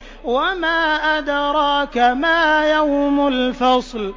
وَمَا أَدْرَاكَ مَا يَوْمُ الْفَصْلِ